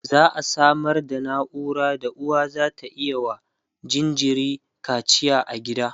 za'a Samar da naura da uwa zata iya wa jinjiri kacia a gida